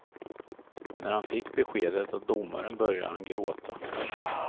När han fick beskedet av domaren började han gråta.